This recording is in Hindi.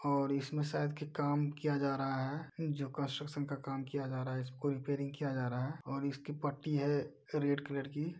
और इसमे शायद क् काम किया जा रहा है जो कन्स्ट्रकशन का काम किया जा रहा है। इसको रिपेयरिंग किया जा रहा है और इसकी पट्टी है रेड कलर की।